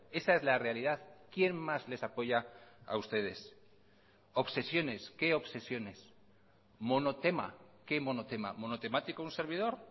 esa es la realidad quien más les apoya a ustedes obsesiones qué obsesiones monotema qué monotema monotemático un servidor